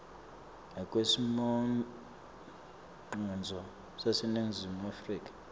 ngekwesimongcondvo saseningizimu afrika